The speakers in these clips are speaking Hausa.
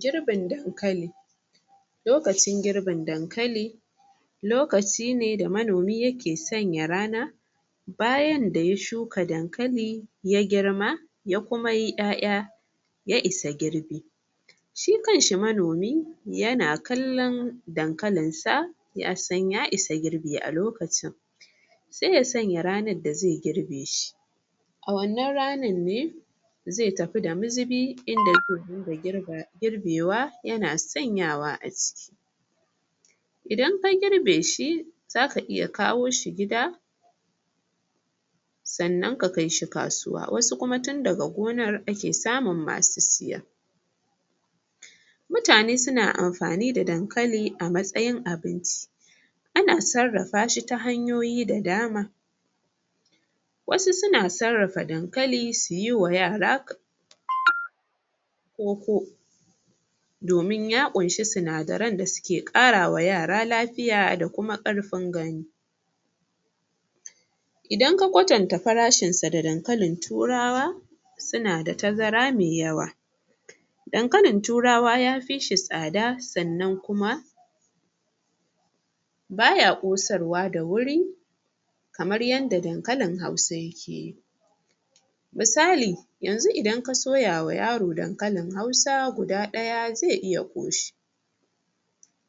Girbin dankali lokacin gibin dankali lokaci ne da manomi yake sanya rana bayan da ya shuka dankali ya girma ya kuma yi ƴaƴa ya isa girbi. shi kanshi manomi yana kallon dankalinsa ya san ya isa girbi alokacin. sai ya sanya ranar da zai girbe shi A wannan ranar ne zai tafi da mazubi in da zai dinga girbe wa yana sanyawa a ciki Idan ka girbe shi za ka iya kawo shi gida. Sannan ka kai shi kasuwa, wasu kuma tun daga gonar ake samun masu siya. Mutane suna amfani da dankali a matsayin abinci. A na sarrafa shi ta hanyoyi da dama. wasu suna sarrafa dankali su yi wa yara koko. domin ya ƙunshi sinadaran da suke ƙara wa yara lafiya da kuma ƙarfin gani. Idan ka kwatanta farashinsa da dankalin turawa, Suna da tazara mai yawa Dankalin turawa ya fi shi tsada sannan kuma baya ƙosarwa da wuri kamar yadda dankalin Hausa yake. Misali yanzu idan ka soya wa yaro dankalin Hausa guda ɗaya zaii iya ƙoshi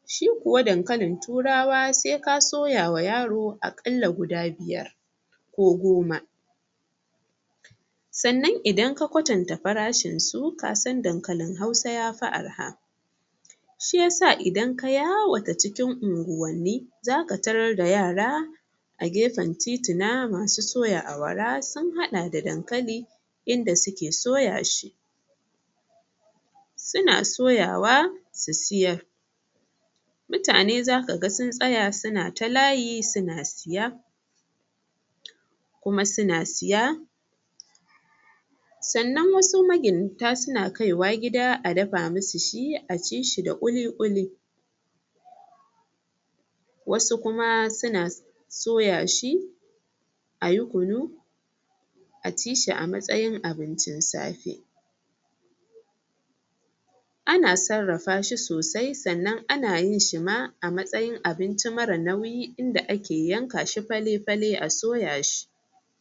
Shi kuwa dankalin Turawa sai ka soya wa yaro aƙalla guda biyar ko goma Sannan idan ka kwatanta farshinsu ka san dankalin Hausa ya fi arha. Shi yasa idan ka yawata cikin unguwanni za ka tarar da yara A gefen tituna masu soya awara sun haɗa da dankali in da suke soya shi suna soyawa su siyar. mutane za ka ga sun tsaya suna ta layi suna siya. kuma suna siya sannan wasu magidanta suna kai wa gida a dafa musu shi a ci shi da ƙuli-ƙuli. wasu kuma suna soya shi a yi kunu a ci shi a matsayin abincin safe. Ana sarrafa shi sosai sannan ana yin shi ma a matsayin abinci marar nauyi in da ake yanka shi fale-fale a soya shi.